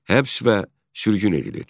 Həbs və sürgün edilirdi.